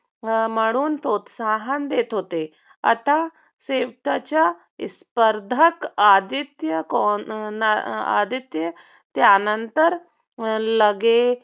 म्हणून प्रोत्साहन देत होते. आता शेवटचा स्पर्धक आदित्य आदित्य त्यांनतर लगे